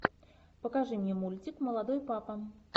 покажи мне мультик молодой папа